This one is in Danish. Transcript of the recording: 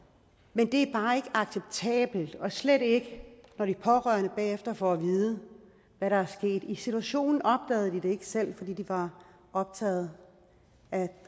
men det er bare ikke acceptabelt og slet ikke når de pårørende bagefter får at vide hvad der er sket i situationen opdagede de det selv fordi de var optaget